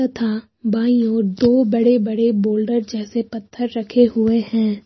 तथा बाईं ओर दो बड़े बड़े बोल्डर जैसे पत्थर रखे हुए हैं।